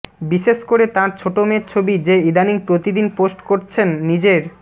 বিশেষ করে তাঁর ছোট মেয়ের ছবি যে ইদানীং প্রতিদিন পোস্ট করছেন নিজের